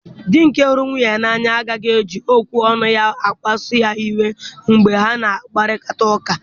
Di nke hụrụ nwunye ya n'anya agaghị eji okwu ọnụ ya kpasuo ya iwe mgbe ha na-akparịta ụka.